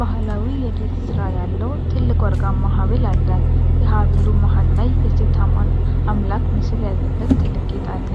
ባህላዊ የጌጥ ሥራ ያለው ትልቅ ወርቃማ ሐብል አለ። የሐብሉ መሃል ላይ የሴት አምላክ ምስል ያለበት ትልቅ ጌጥ አለ።